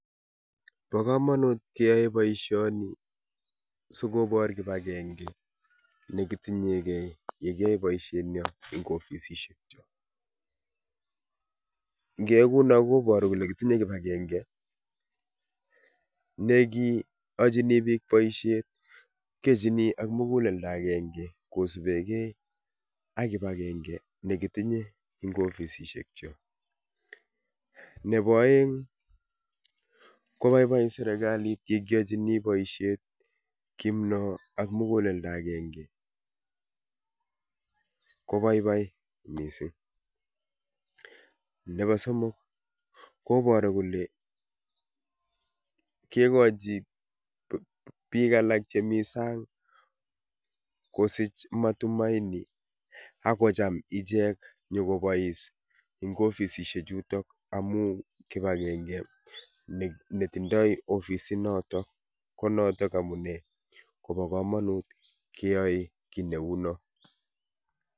bo komonut keyai boisioni sikobor kibagenge negitiny'enge yegiyoe boisienyon en ofisisiekyo, ingeyai kouno koboru kole kitinye kibagenge ,nekiyojini biik boisiet kiojini ak muguleldo agenge kisipeken ak kibagenge negitinye en ofisisiekyo, nebo oeng' kobabai serkalit yegiyojini boisiet kounon muguleldo agenge kobabai missing, nebo somok koboru kole kegiji biik alak chemi saang kosich matumaini ak kocham ichek nyokobois en ofisisiek chuton amun en kibagenge netondoi ofisit noton ko noton amunei kobokomonut keyoe kiit neuno.